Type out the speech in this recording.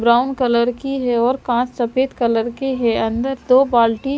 Brown colour की है और कांच सफेद कलर के है अंदर दो बाल्टी।